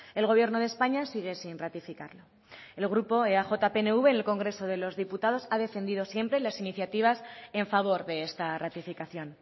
el gobierno de españa sigue sin ratificarlo el grupo eaj pnv en el congreso de los diputados ha defendido siempre las iniciativas en favor de esta ratificación